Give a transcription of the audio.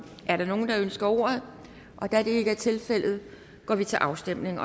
er der nogen der ønsker ordet da det ikke er tilfældet går vi til afstemning